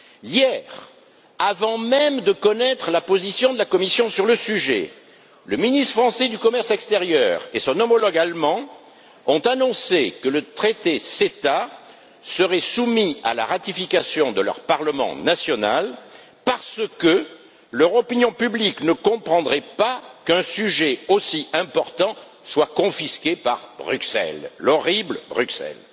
Hier, avant même de connaître la position de la Commission sur le sujet, le ministre français du commerce extérieur et son homologue allemand ont annoncé que le traité CETA serait soumis à la ratification de leur parlement national, parce que leur opinion publique ne comprendrait pas qu'un sujet aussi important soit confisqué par Bruxelles l'horrible Bruxelles!